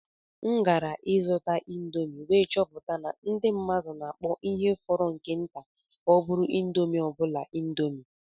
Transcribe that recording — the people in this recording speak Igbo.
Agara m ịzụta indomi wee chọpụta na ndị mmadụ na-akpọ ihe fọrọ nke nta ka ọ bụrụ indomi obula indomi.